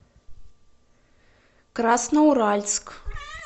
красноуральск